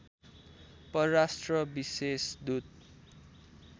परराष्ट्र विशेष दूत